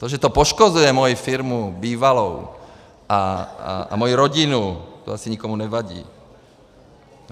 To, že to poškozuje moji firmu, bývalou, a moji rodinu, to asi nikomu nevadí.